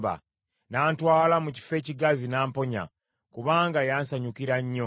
N’antwala mu kifo ekigazi n’amponya, kubanga yansanyukira nnyo.